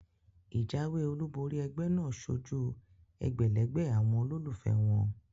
Ìjáwé olúbori egbé náà sojú egbèlégbè àwon olólùfé won